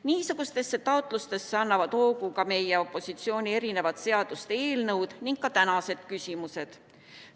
Niisugustele taotlustele annavad hoogu ka meie opositsiooni erinevate seaduste eelnõud ning tänased küsimused.